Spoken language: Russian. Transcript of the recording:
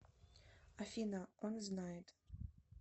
афина он знает